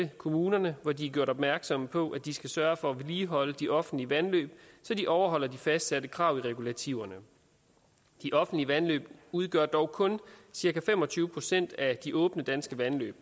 kommunerne hvori de er gjort opmærksom på at de skal sørge for at vedligeholde de offentlige vandløb så de overholder de fastsatte krav i regulativerne de offentlige vandløb udgør dog kun cirka fem og tyve procent af de åbne danske vandløb